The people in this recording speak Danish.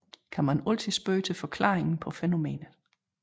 Kan man altid spørge til forklaringen på fænomenet